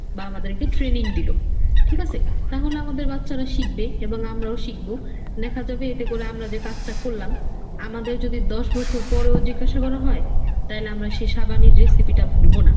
বা আমাদেরকে training দিলো, ঠিক? আছে তাহলে আমাদের বাচ্চারা শিখবে এবং আমরাও শিখবো। দেখা যাবে এতে করে আমরা যে কাজটা করলাম আমাদের যদি আমাদের যদি দশ বছর পরেও জিজ্ঞাসা করা হয় তাহলে আমরা সেই সাবানের recipe টা ভুলবো না।